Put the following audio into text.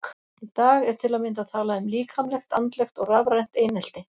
Í dag er til að mynda talað um líkamlegt, andlegt og rafrænt einelti.